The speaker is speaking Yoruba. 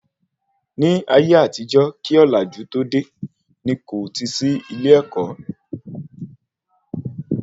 Ní ayé àtijó kí ọ̀làjú tó dé, ní kò tí sí ilé-èkó